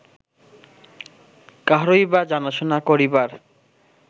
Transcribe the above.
কাহারই বা জানাশুনা করিবার